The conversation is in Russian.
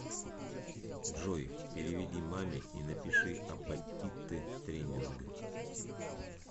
джой переведи маме и напиши апатиты тренинг